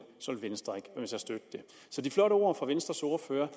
venstre at støtte det så de flotte ord fra venstres ordfører